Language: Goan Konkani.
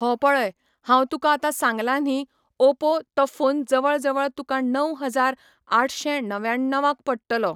हो पळय हांव तुका आतां सांगलां न्ही ओपो तो फोन जवळ जवळ तुका णव हजार आठशें णव्याण्णवाक पडटलो.